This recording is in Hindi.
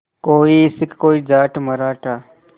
कोई सिख कोई जाट मराठा